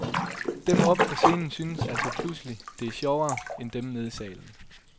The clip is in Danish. Dem oppe på scenen synes altså pludselig, det er sjovere, end dem nede i salen.